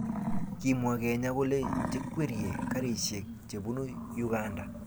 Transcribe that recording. kimwa kenya kole chekwerie karishiek chebunu uganda